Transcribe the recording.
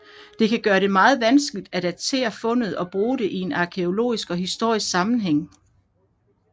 Det kan gøre det meget vanskeligt at datere fundet og bruge det i en arkæologisk og historisk sammenhæng